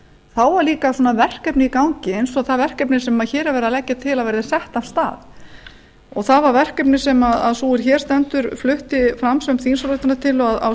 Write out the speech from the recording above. þá var líka svona verkefni í gangi eins og það verkefni sem hér er verið að leggja til að verði sett af stað það var verkefni sem sú er hér stendur flutti fram sem þingsályktunartillögu á